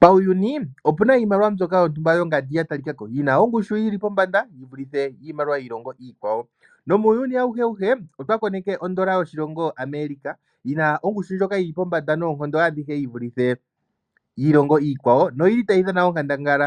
Pauyuni opu na iimaliwa mbyoka yontumba yongandi ya talikako yi na ongushu yi li pombanda yi vulithe iimaliwa yiilongo iikwawo. Nomuuyuni auheuhe otwa koneke odola yoshilongo America yi na ongushu ndjoka yi li pombanda noonkondo adhihe yi vulithe yiilongo iikwawo noyi li tayi dhana onkandangala